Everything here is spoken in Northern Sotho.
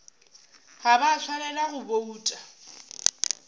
ga ba swanela go bouta